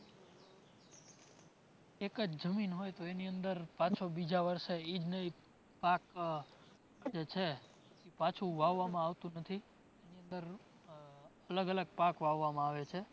એક જ જમીન હોય તો એની અંદર પાછો બીજા વર્ષે એ જ નો એ પાક જે છે પાછું વાવવામાં આવતું નથી. એની અંદર અલગ અલગ પાક વાવવામાં આવે છે